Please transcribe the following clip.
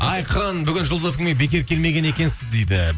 айқын бүгін жұлдыз эф эм ге бекер келмеген екенсіз дейді